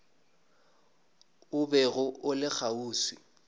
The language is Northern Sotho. o bego o le kgauswi